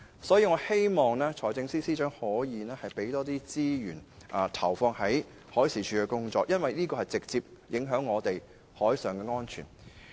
因此，我希望財政司司長可以為海事處提供更多資源，因為部門的工作質素和效率會直接影響本港的海上安全。